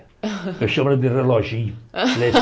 Eu chamo ela de reloginho.